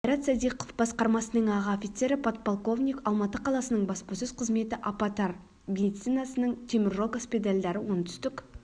қайрат садиқов басқармасының аға офицері подполковник алматы қаласының баспасөз қызметі аппатар медицинасының темір жол госпитальдары оңтүстік